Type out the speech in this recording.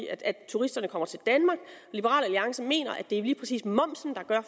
at turisterne kommer til danmark og liberal alliance mener at det er lige præcis momsen der gør